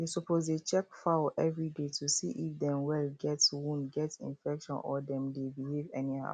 you suppose dey check fowl everyday to see if dem well get wound get infection or dem dey behave anyhow